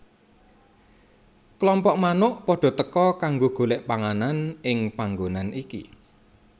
Klompok manuk padha teka kanggo golek panganan ing panggonan iki